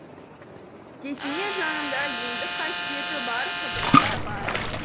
кесене жанында емдік қасиеті бар құдық та бар